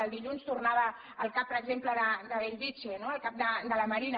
el dilluns tornava al cap per exemple de bellvitge no al cap de la marina